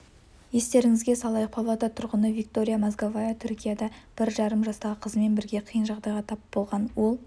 естеріңізге салайық павлодар тұрғыны виктория мозговая түркияда бір жарым жастағы қызымен бірге қиын жағдайға тап болған ол